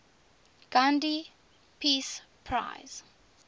gandhi peace prize